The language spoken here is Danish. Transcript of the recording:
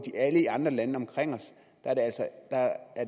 i alle andre lande omkring os er